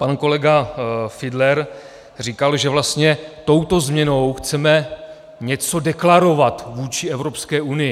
Pan kolega Fiedler říkal, že vlastně touto změnou chceme něco deklarovat vůči Evropské unii.